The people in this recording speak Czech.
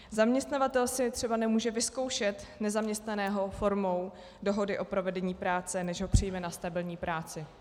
Zaměstnavatel si třeba nemůže vyzkoušet nezaměstnaného formou dohody o provedení práce, než ho přijme na stabilní práci.